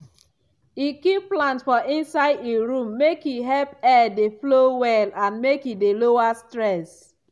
e keep plant for inside e room make e help air dey flow well and make e dey lower stress.